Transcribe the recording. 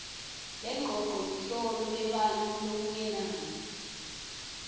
lengcocoluhlolo lebantfu lokungenani